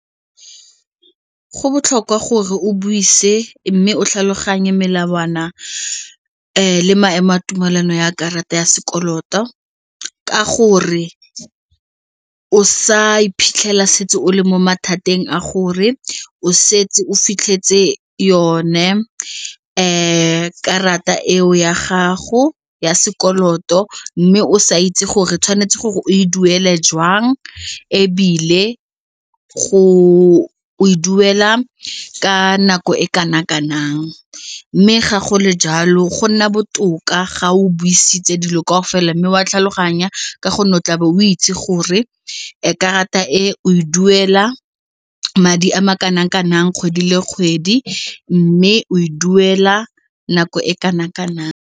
Go botlhokwa gore o buise mme o tlhaloganye melawana le maemo a tumelano ya karata ya sekoloto ka gore o sa iphitlhela setse o le mo mathateng a gore o setse o fitlhetse yone karata eo ya gago ya sekoloto mme o sa itse gore tshwanetse gore o e duele jwang ebile go e duela ka nako e kana kanang mme ga gole jalo go nna botoka ga o buisitse dilo kaofela mme wa tlhaloganya go o itse gore karata e o e duela madi a ma kanang-kanang kgwedi le kgwedi mme o e duela nako e kanang-kanang.